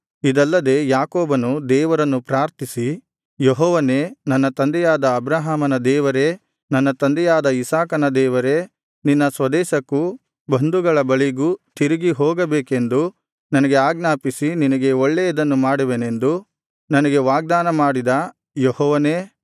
ಇದಲ್ಲದೆ ಯಾಕೋಬನು ದೇವರನ್ನು ಪ್ರಾರ್ಥಿಸಿ ಯೆಹೋವನೇ ನನ್ನ ತಂದೆಯಾದ ಅಬ್ರಹಾಮನ ದೇವರೇ ನನ್ನ ತಂದೆಯಾದ ಇಸಾಕನ ದೇವರೇ ನಿನ್ನ ಸ್ವದೇಶಕ್ಕೂ ಬಂಧುಗಳ ಬಳಿಗೂ ತಿರುಗಿ ಹೋಗಬೇಕೆಂದು ನನಗೆ ಆಜ್ಞಾಪಿಸಿ ನಿನಗೆ ಒಳ್ಳೆಯದನ್ನು ಮಾಡುವೆನೆಂದು ನನಗೆ ವಾಗ್ದಾನ ಮಾಡಿದ ಯೆಹೋವನೇ